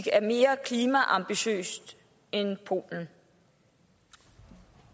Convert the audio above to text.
er det mere ambitiøs end polen